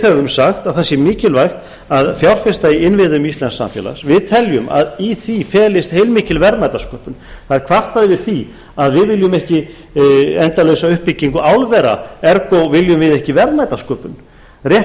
höfum sagt að það sé mikilvægt að fjárfesta í innviðum íslensks samfélags við teljum að í því felist heilmikil verðmætasköpun það er kvartað yfir því að við viljum ekki endalausa uppbyggingu álvera ergo viljum við ekki verðmætasköpun rétt